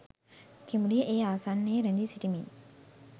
කිඹුලිය ඒ ආසන්නයේ රැඳී සිටිමින්